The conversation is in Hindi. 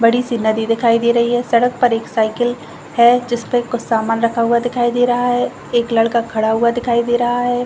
बड़ी सी नदी दिखाई दे रही है सड़क पर एक साइकिल है जिस पर कुछ सामान रखा हुआ दिखाई दे रहा है एक लड़का खड़ा हुआ दिखाई दे रहा है।